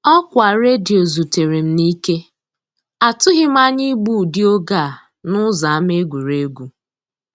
Ọkwa redio zutere m n'ike; atụghị m anya igbu ụdị oge a n'ụzọ ama egwuregwu.